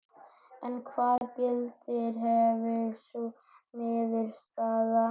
En hvaða gildi hefði sú niðurstaða?